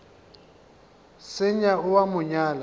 senya o a mo nyala